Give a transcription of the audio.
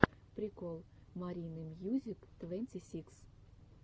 прикол маринымьюзиктвэнтисикс